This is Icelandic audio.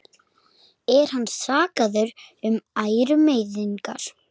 Er hann sakaður um ærumeiðingar